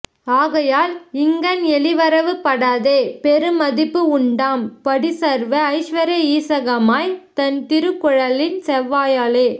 ஆகையால் இங்கண் எளிவரவு படாதே பெரு மதிப்பு உண்டாம் படி சர்வ ஐஸ்வர்ய ஸூசகமாய் தன் திருக் குழலின் செவ்வையாலே